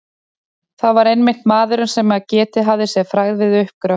Það var einmitt maðurinn, sem getið hafði sér frægð við uppgröft